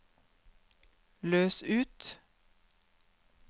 løs ut